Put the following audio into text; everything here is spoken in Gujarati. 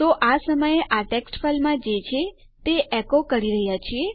તો આપણે આ સમયે આ ટેક્સ્ટ ફાઈલમાં જે છે તે એકો કરી રહ્યા છીએ